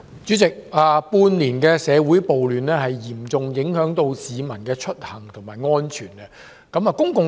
主席，長達半年的社會暴亂，嚴重影響到市民的出行和安全。